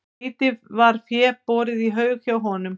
Lítið var fé borið í haug hjá honum.